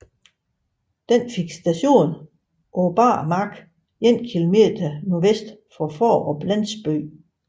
Den fik station på bar mark 1 km nordvest for Fårup landsby